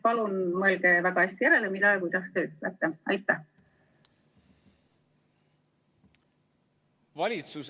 Palun mõelge nüüd hästi järele, mida te ütlete!